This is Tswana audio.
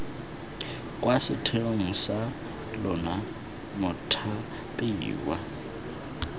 kwa setheong sa lona mothapiwa